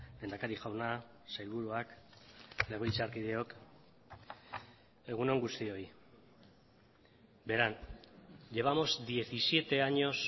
lehendakari jauna sailburuak legebiltzarkideok egun on guztioi verán llevamos diecisiete años